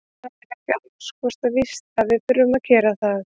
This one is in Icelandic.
Það er ekki alls kostar víst að við þurfum að gera það.